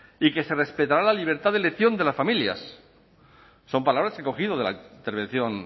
y que se respetará la libertad de elección de las familias son palabras que he cogido de la intervención